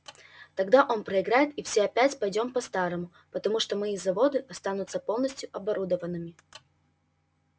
тогда он проиграет и все опять пойдём по-старому потому что мои заводы останутся полностью оборудованными